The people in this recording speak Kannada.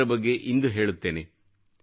ಇದರ ಬಗ್ಗೆ ಇಂದು ಹೇಳುತ್ತೇನೆ